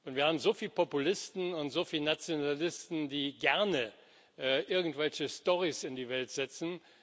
Wir haben so viele Populisten und so viele Nationalisten, die gerne irgendwelche Storys in die Welt setzen.